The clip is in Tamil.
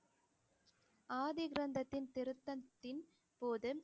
ஆதி கிரந்தத்தின் திருத்தத்தின் போது